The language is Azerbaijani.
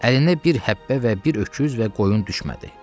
Əlində bir həppə və bir öküz və qoyun düşmədi.